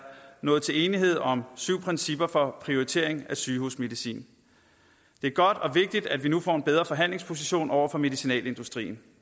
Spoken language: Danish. nået til enighed om syv principper for prioritering af sygehusmedicin det er godt og vigtigt at vi nu får en bedre forhandlingsposition over for medicinalindustrien